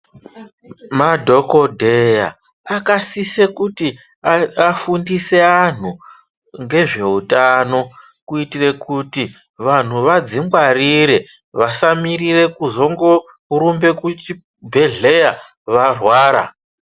Madhokodheya akasise kuti aa afundise vantu ngezveutano kuitira kuti vantu vàdzingwarire vasamirire kuzongorumbe kuchibhedhleYa varwara.